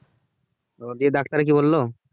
ও দিয়ে ডাক্তার কি বললো?